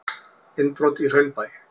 Innbrot í Hraunbæ